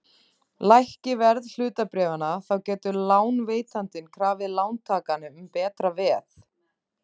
Lækki verð hlutabréfanna þá getur lánveitandinn krafið lántakann um betra veð.